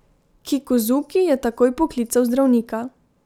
Kikuzuki je takoj poklical zdravnika.